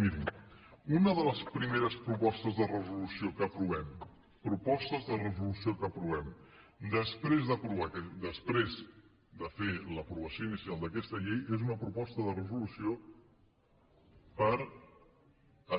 mirin una de les primeres propostes de resolució que aprovem propostes de resolució que aprovem després de fer l’aprovació inicial d’aquesta llei és una proposta de resolució per